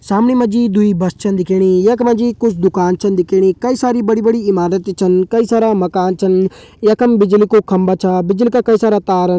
सामणी मा जी दुई बस छन दिखेणी यख मा जी कुछ दुकान छन दिखेणी कई सारी बड़ी बड़ी इमारत छन कई सारा मकान छन यखम बिजली कु खम्बा छन बिजली का कई सारा तार।